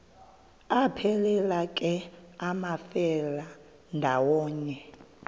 aphelela ke amafelandawonye